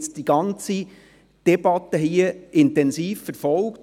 Lukas Vögeli hat die ganze Debatte hier intensiv verfolgt.